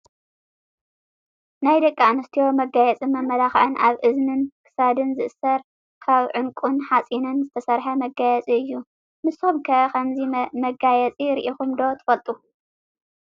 ናይ ደቂ ኣንስትዮ መጋየፅን መመላክዕን ኣብ እዝንን ፣ ክሳድ ዝእሰርን ካብ ዑንቁን ሓፂንን ዝተሰረሓ መጋየፂ እዩ። ንስኩም'ከ ከምዚ መጋየፂ ሪኢኩም ዶ ትፈልጡ?